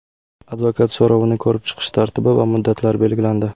Advokat so‘rovini ko‘rib chiqish tartibi va muddatlari belgilandi.